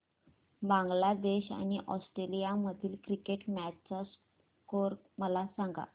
बांगलादेश आणि ऑस्ट्रेलिया मधील cricket match चा स्कोअर मला सांगा